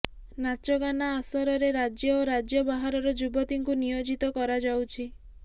ନାଚଗାନା ଆସରରେ ରାଜ୍ୟ ଓ ରାଜ୍ୟ ବାହାରର ଯୁବତୀଙ୍କୁ ନିୟୋଜିତ କରାଯାଉଛି